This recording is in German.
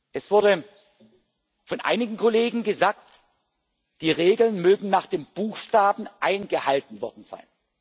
Es wurde von einigen Kollegen gesagt, die Regeln mögen nach dem Buchstaben eingehalten worden sein.